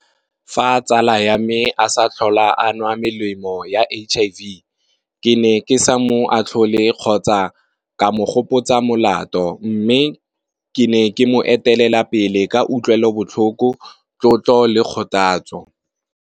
Fa tsala ya me a sa tlhola a nwa melemo ya H_I_V. Ke ne ke sa mo atlhole kgotsa ka mo gopotsa molato mme ke ne ke mo etelela pele ka utlwelo botlhoko, tlotlo le kgothatso.